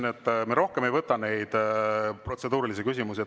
Ma ütlesin, et me rohkem ei võta protseduurilisi küsimusi.